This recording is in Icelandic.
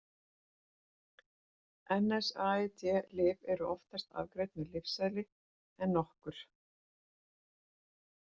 NSAID-lyf eru oftast afgreidd með lyfseðli en nokkur.